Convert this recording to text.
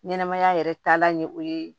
Ɲɛnɛmaya yɛrɛ taalan ye o ye